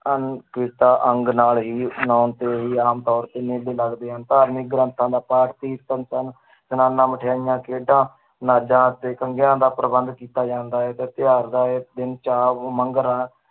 ਅੰਗ ਨਾਲ ਹੀ ਆਮ ਤੌਰ ਤੇ ਮੇਲੇ ਲੱਗਦੇ ਹਨ, ਧਾਰਮਿਕ ਗ੍ਰੰਥਾਂ ਦਾ ਪਾਠ ਕੀਰਤਨ ਸਲਾਨਾ ਮਠਿਆਈਆਂ ਖੇਡਾਂ ਨਾਜਾਂਂ ਅਤੇ ਦਾ ਪ੍ਰਬੰਧ ਕੀਤਾ ਜਾਂਦਾ ਹੈ ਦਾ ਇਹ ਦਿਨ